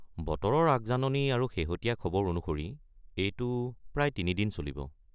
বতৰৰ আগজাননী আৰু শেহতীয়া খবৰ অনুসৰি এইটো প্ৰায় ৩ দিন চলিব।